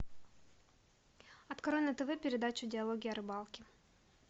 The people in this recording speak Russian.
открой на тв передачу диалоги о рыбалке